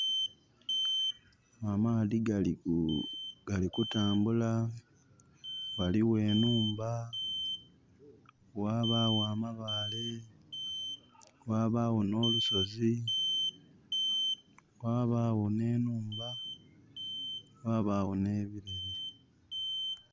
Amaadhi gali kutambula, ghaligho enhumba, ghabagho amabaale, ghabagho n'olusozi, ghabagho n'enhumba, ghabagho n'ebileri.